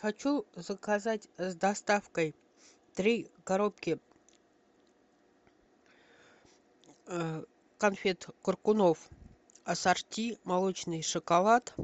хочу заказать с доставкой три коробки конфет коркунов ассорти молочный шоколад